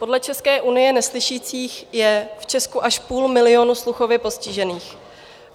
Podle České unie neslyšících je v Česku až půl milionu sluchově postižených.